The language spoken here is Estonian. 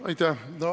Aitäh!